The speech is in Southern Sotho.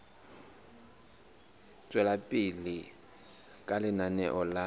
tswela pele ka lenaneo la